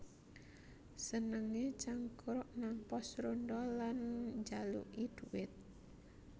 Senengé cangkruk nang pos rondha lan njaluki dhuwit